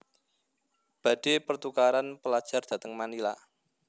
Badhe pertukaran pelajar dateng Manila